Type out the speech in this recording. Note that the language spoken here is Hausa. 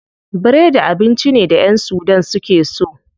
Biredi abinci ne da ƴan sudan suke so.